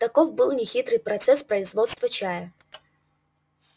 таков был нехитрый процесс производства чая